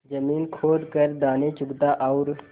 जमीन खोद कर दाने चुगता और